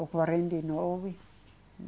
Ou quarenta e nove.